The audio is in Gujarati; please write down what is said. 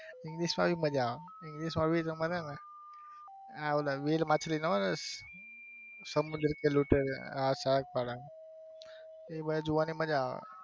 એ મજા આવે english માં પણ મજા આવે english માં બી તમારે છે ને વેલ માછલી ના હોય સમુદ્ર કે લુટેરે વાળા.